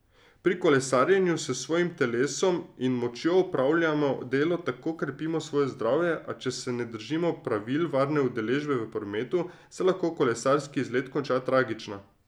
Pri kolesarjenju s svojim telesom in močjo opravljamo delo in tako krepimo svoje zdravje, a če se ne držimo pravil varne udeležbe v prometu, se lahko kolesarski izlet konča tragično.